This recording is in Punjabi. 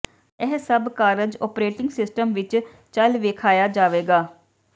ਇਹ ਸਭ ਕਾਰਜ ਓਪਰੇਟਿੰਗ ਸਿਸਟਮ ਵਿੱਚ ਚੱਲ ਵੇਖਾਇਆ ਜਾਵੇਗਾ